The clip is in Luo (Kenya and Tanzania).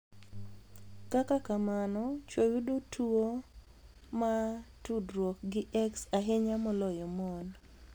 Kaka kamano, chwo yudo tuwo ma tudruok gi X ahinya moloyo mon.